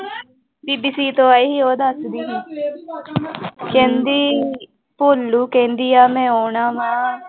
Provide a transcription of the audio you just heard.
ਬੀਬੀ ਸੀਤੋ ਆਈ ਸੀ ਉਹ ਦੱਸਦੀ ਸੀ ਕਹਿੰਦੀ ਭੋਲੂ ਕਹਿੰਦੀ ਆ ਮੈਂ ਆਉਣਾ ਵਾਂ।